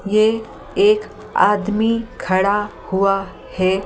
ये एक आदमी खड़ा हुआ है ।